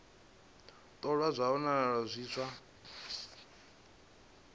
ṱolwa zwa wanala zwi zwa